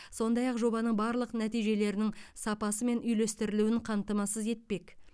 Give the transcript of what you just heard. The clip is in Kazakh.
сондай ақ жобаның барлық нәтижелерінің сапасы мен үйлестірілуін қамтамасыз етпек